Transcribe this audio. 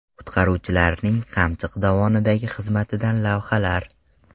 Qutqaruvchilarning Qamchiq dovonidagi xizmatidan lavhalar .